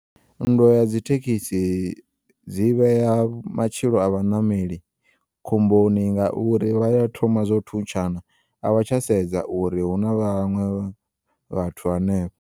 Nndwa ya dzithekisi dzi vheya matshilo a vhaṋameli khomboni ngauri vhaya thoma zwa u thuntshana a vha tsha sedza uri huna vhaṅwe vhathu hanefho.